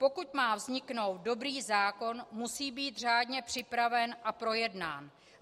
Pokud má vzniknout dobrý zákon, musí být řádně připraven a projednán.